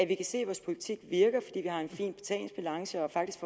vi kan se at vores politik virker fordi vi har en fin betalingsbalance og faktisk